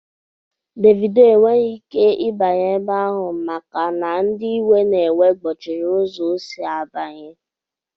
Dévido enweghị ike ịbanye ebe ahụ maka na ndị iwe na-ewe gbochiri ụzọ ọ sị abanya